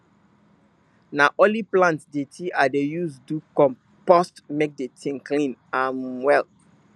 na only plant dirty i dey use do compost make the thing clean um well